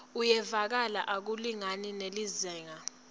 uyevakala akulingani nelizingaa